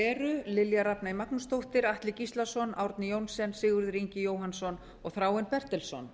eru lilja rafney magnúsdóttir atli gíslason árni johnsen sigurður ingi jóhannsson og þráinn bertelsson